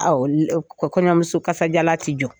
kɔɲɔmuso kasajalan tɛ jɔ.